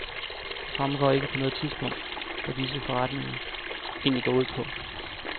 Det fremgår ikke på noget tidspunkt, hvad disse forretninger egentlig går ud på.